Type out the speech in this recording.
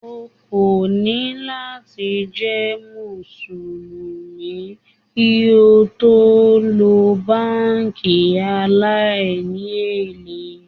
O kò ní láti jẹ́ Mùsùlùmí kí o tó lo báńkì aláìní èlé.